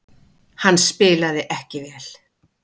Hann spilaði ekki vel.